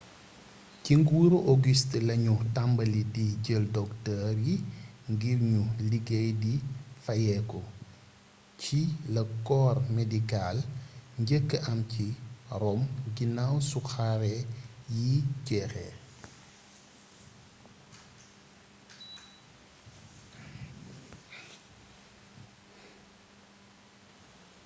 ci nguuru auguste lañu tàmbali di jël docteur yi ngir ñu liggéey di fayeeku ci la corps médical njëkkee am ci rome ginaaw su xare yi jeexee